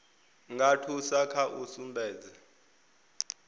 nga thusa kha u sumbedza